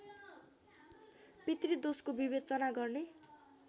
पितृदोषको विवेचना गर्ने